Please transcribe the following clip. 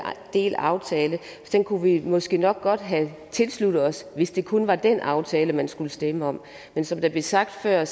delaftale kunne vi måske nok godt have tilsluttet os hvis det kun var den aftale man skulle stemme om men som der blev sagt før